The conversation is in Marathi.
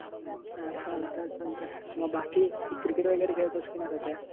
अच्छा चालतंय चालतंय मग बाकी क्रिकेट वगैरे खेळतोयस का नाही सध्या?